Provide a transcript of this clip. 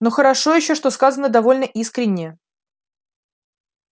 но хорошо ещё что сказано довольно искренне